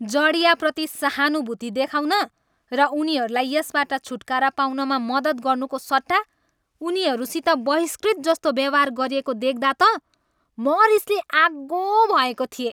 जँड्याहाप्रति सहानुभूति देखाउन र उनीहरूलाई यसबाट छुटकारा पाउनमा मद्दत गर्नुको सट्टा उनीहरूसित बहिष्कृत जस्तो व्यवहार गरिएको देख्दा त म रिसले आगो भएको थिएँ।